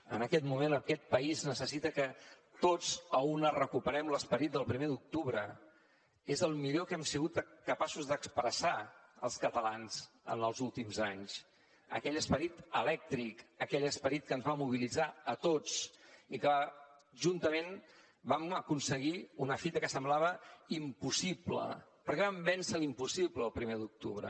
en aquest moment aquest país necessita que tots a una recuperem l’esperit del primer d’octubre és el millor que hem sigut capaços d’expressar els catalans en els últims anys aquell esperit elèctric aquell esperit que ens va mobilitzar a tots i que juntament vam aconseguir una fita que semblava impossible perquè vam vèncer l’impossible el primer d’octubre